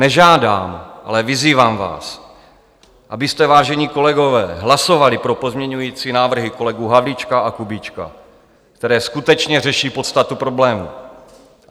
Nežádám, ale vyzývám vás, abyste, vážení kolegové, hlasovali pro pozměňující návrhy kolegů Havlíčka a Kubíčka, které skutečně řeší podstatu problému.